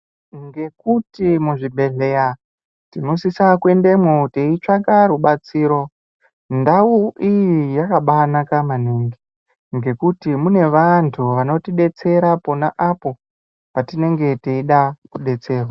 Nekuti muzvibhehleya tinosise kuendemwo teitsvaka rubatsiro ndau iyi yakabanaka maningi ngekuti mune vantu vanotidzetsera apo patinenge teida kudetserwa.